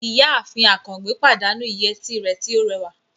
Ìyáàfin Àkàngbé pàdánù ìyẹ́tí rẹ̀ tó rẹwà